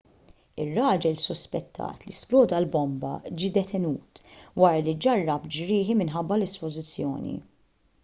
ir-raġel suspettat li sploda l-bomba ġie detenut wara li ġarrab ġrieħi minħabba l-isplużjoni